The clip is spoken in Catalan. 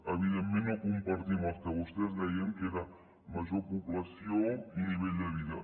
evidentment no compartim el que vostès deien que era major població i nivell de vida